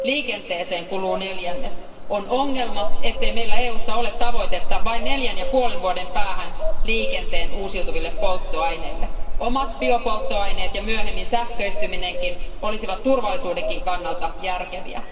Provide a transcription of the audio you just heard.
Liikenteeseen kuluu neljännes. On ongelma, ettei meillä EUssa ole tavoitetta vain neljän ja puolen vuoden päähän liikenteen uusiutuville polttoaineille. Omat biopolttoaineet ja myöhemmin sähköistyminenkin olisivat myös turvallisuuden kannalta järkeviä.